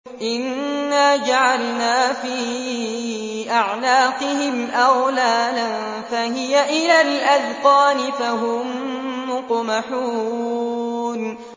إِنَّا جَعَلْنَا فِي أَعْنَاقِهِمْ أَغْلَالًا فَهِيَ إِلَى الْأَذْقَانِ فَهُم مُّقْمَحُونَ